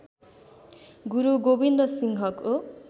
गुरू गोविन्‍द सिंहको